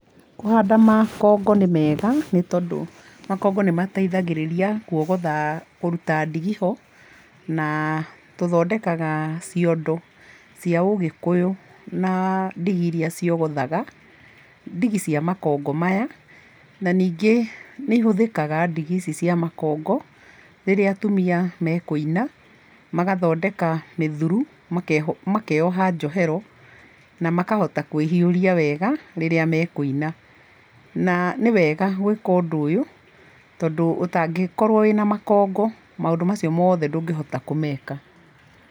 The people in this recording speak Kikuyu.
Kũhanda makongo nĩ mega nĩ tondũ, makongo nĩ mateithagĩrĩria kuogotha, kũruta ndigi ho na tũthondekaga ciondo cia ũgĩkũyũ na ndigi iria ciogothaga, ndigi cia makongo maya, na ningĩ nĩ ihũthĩkaga ndigi ici cia makongo rĩrĩa atumia mekũina magathondeka mĩthuru makeha njohero na makahota kwĩhiũria wega rĩrĩa mekũina na nĩwega gwĩka ũndũ ũyũ tondũ ũtangĩkorwo wĩna makongo maũndũ macio mothe ndũngĩhota kũmeka.